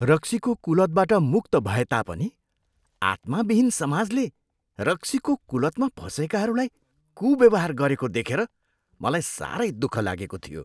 रक्सीको कुलतबाट मुक्त भएता पनि आत्माविहीन समाजले रक्सीको कुलतमा फसेकाहरूलाई कुव्यवहार गरेको देखेर मलाई साह्रै दुःख लागेको थियो।